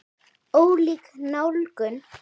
Ólík nálgun.